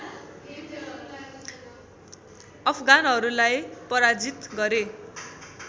अफगानहरूलाई पराजित गरे